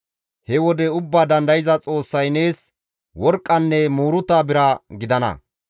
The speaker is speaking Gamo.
He wode Ubbaa Dandayza Xoossay nees worqqanne muuruta bira gidana.